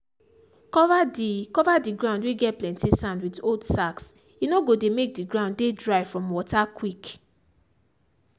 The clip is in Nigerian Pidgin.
cover the cover the ground whey get plenty sand with old sackshe no go dey make the ground dey dry from water quick.